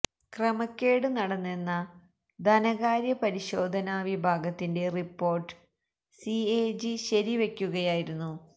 ക്രമക്കേട് നടന്നെന്ന ധനകാര്യ പരിശോധന വിഭാഗത്തിന്റെ റിപ്പോര്ട്ട് സി എ ജി ശരിവെക്കുകയായിരുന്നു